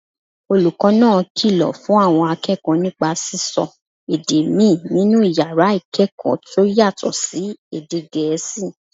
Olùkọ́ náà kìlọ̀ fún àwọn akẹ́kọ̀ọ́ nípa sísọ èdè míì nínú yàrá ìkẹ́kọ̀ọ́ tó yàtọ̀ sí èdè Gẹ̀ẹ́sì